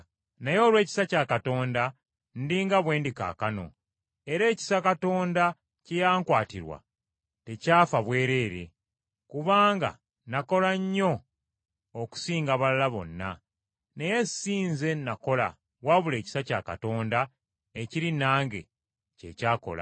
Naye olw’ekisa kya Katonda ndi nga bwe ndi kaakano, era ekisa Katonda kye yankwatirwa tekyafa bwereere. Kubanga nakola nnyo okusinga abalala bonna, naye si nze nakola wabula ekisa kya Katonda ekiri nange kye kyakola.